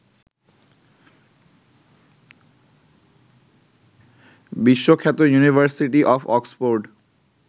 বিশ্বখ্যাত university of Oxford